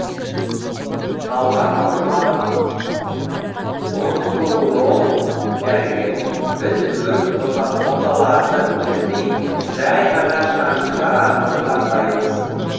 талғат құрманов онкоуролог дәрігер біз үлкен оталарды тілмей жай ғана шаншулар арқылы жасаймыз